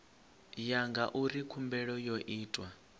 ya ngauri khumbelo yo itwa